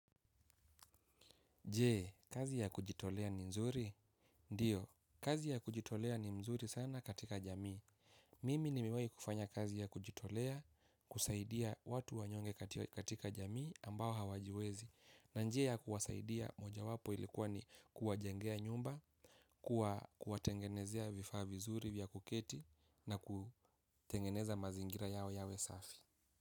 Jee, kazi ya kujitolea ni mzuri? Ndiyo, kazi ya kujitolea ni mzuri sana katika jamii. Mimi nimiwai kufanya kazi ya kujitolea, kusaidia watu wanyonge katika jamii ambao hawajiwezi. Na njia ya kuwasaidia moja wapo ilikuwa ni kuwajengea nyumba, kuwatengenezea vifaa vizuri vya kuketi na kutengeneza mazingira yao yawe safi.